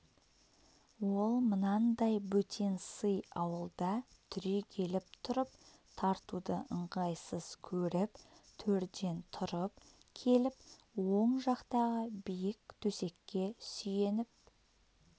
ол мынандай бөтен сый ауылда түрегеліп тұрып тартуды ыңғайсыз көріп төрден тұрып келіп оң жақтағы биік төсекке сүйеніп